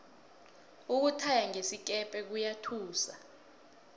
ukuthaya ngesikepe kuyathusa